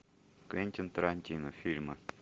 квентин тарантино фильмы